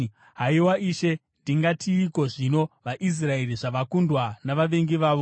Haiwa Ishe, ndingatiiko zvino vaIsraeri zvavakundwa navavengi vavo?